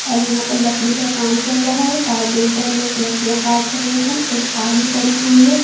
और यहां पर लकड़ी का काम चल रहा है कारपेंटर लोग लकड़ियां काट रहे हैं एक आरी पड़ी हुई है।